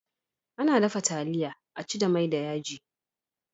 Ana dafa taliya a ci da mai da yaji.